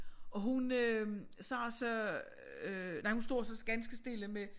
Og hun øh sagde så øh nej hun stod også ganske stille med